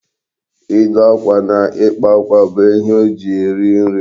Ịdụ akwa na ịkpa akwa bụ ihe o ji eri nri.